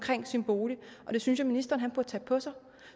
sin bolig og det synes jeg ministeren burde tage på sig